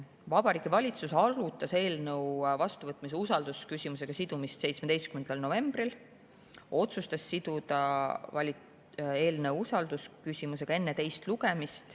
Vabariigi Valitsus arutas eelnõu vastuvõtmise usaldusküsimusega sidumist 17. novembril ja otsustas siduda eelnõu enne teist lugemist usaldusküsimusega.